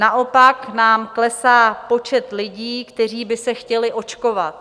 Naopak nám klesá počet lidí, kteří by se chtěli očkovat.